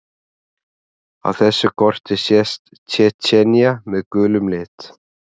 Á þessu korti sést Tsjetsjenía með gulum lit.